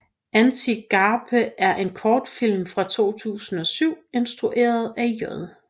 Antigape er en kortfilm fra 2007 instrueret af J